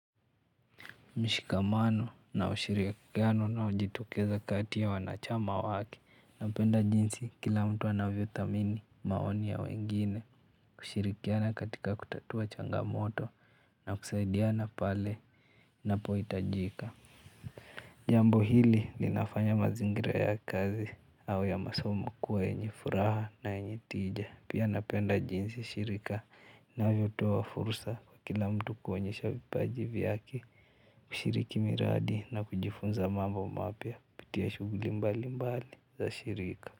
Mshikamano na ushirikiano unaojitokeza kati ya wanachama wake napenda jinsi kila mtu anavyothamini maoni ya wengine kushirikiana katika kutatua changamoto na kusaidiana pale napohitajika. Jambo hili linafanya mazingira ya kazi au ya masomo kuwa yenye furaha na yenye tija. Pia napenda jinsi shirika linavyotoa fursa kwa kila mtu kuonyesha vipaji vyake kushiriki miradi na kujifunza mambo mapya kupitia shughuli mbali mbali za shirika.